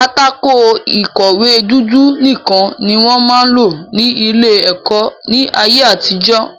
Pátákó ìkọ̀wé dúdú nìkan ni wọ́n máa ń lò ní ilé-ẹ̀kọ́ ní ayé-àtijọ́.